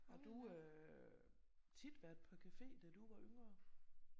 Har du øh tit været på café da du var yngre?